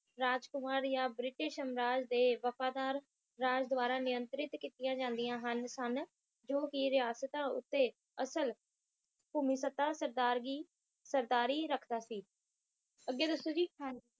ਰਾਜ ਕੁਮਾਰ ਇਹਾ ਬ੍ਰਿਟਿਸ਼ ਅੰਗਾਰ ਦੇ ਵਫ਼ਾਦਾਰ ਰਾਜ ਦੁਆਰਾ ਨਿਯੰਤ੍ਰਿਤ ਕੀਤੀਆਂ ਜਾਂਦੀਆਂ ਹਨ ਸਨ ਜੋ ਕਿ ਰਿਹਾਸਤਾ ਉੱਤੇ ਅਸਲ ਭੂਮੀ ਸੱਤਾ ਸਰਦਾਰੀ ਸਰਕਾਰੀ ਰਾਕਸ਼ਾਂ ਸੀ ਅੱਗੇ ਦੱਸੋ ਜੀ